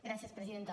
gràcies presidenta